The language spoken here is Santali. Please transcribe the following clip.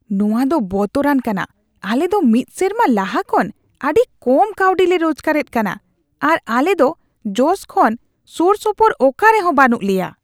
ᱱᱚᱶᱟ ᱫᱚ ᱵᱚᱛᱚᱨᱟᱱ ᱠᱟᱱᱟ ! ᱟᱞᱮ ᱫᱚ ᱢᱤᱫ ᱥᱮᱨᱢᱟ ᱞᱟᱦᱟ ᱠᱷᱚᱱ ᱟᱹᱰᱤ ᱠᱚᱢ ᱠᱟᱹᱣᱰᱤ ᱞᱮ ᱨᱳᱡᱜᱟᱨ ᱮᱫ ᱠᱟᱱᱟ, ᱟᱨ ᱟᱞᱮ ᱫᱚ ᱡᱚᱥ ᱠᱷᱚᱱ ᱥᱳᱨᱥᱳᱯᱳᱨ ᱚᱠᱟᱨᱮᱦᱚᱸ ᱵᱟᱹᱱᱩᱜ ᱞᱮᱭᱟ ᱾